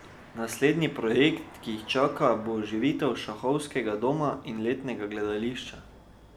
Naslednji projekt, ki jih čaka, bo oživitev šahovskega doma in letnega gledališča.